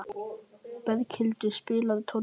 Berghildur, spilaðu tónlist.